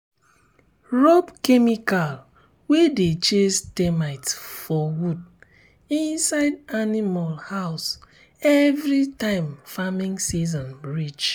rub chemical wey dey chase termite for wood inside animal house every time farming season reach.